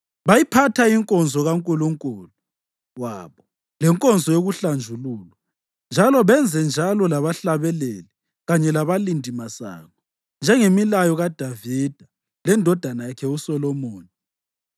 Bayiphatha inkonzo kaNkulunkulu wabo lenkonzo yokuhlanjululwa, njalo benzenjalo labahlabeleli kanye labalindimasango, njengemilayo kaDavida lendodana yakhe uSolomoni.